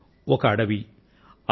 ఒక అడవి అందులో